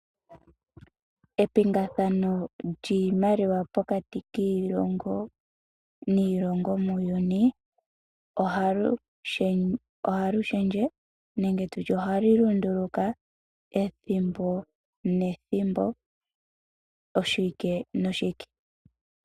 Epingathano lyiimaliwa pokati kiilongo niilongo muuyuni oha li shendje nenge tu tye oha li lunduluka ethimbo nethimbo oshiwike noshiwike.